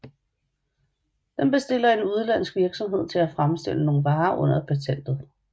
Den bestiller en udenlandsk virksomhed til at fremstille nogle varer under patentet